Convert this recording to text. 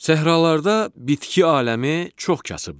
Səhralarda bitki aləmi çox kasıbdır.